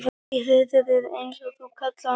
Í hreiðrið eins og þú kallaðir hana sjálf.